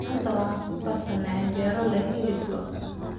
Maanta waxaan ku karsannay canjeero leh hilib lo'aad.